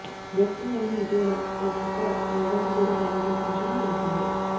Boston company ఇటీవల ఓ కుక్క రోబోను కూడా తయారు చేసిన విషయం తెలిసిందే